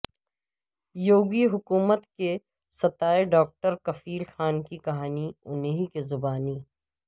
یوگی حکومت کے ستائے ڈاکٹر کفیل خان کی کہانی انہی کی زبانی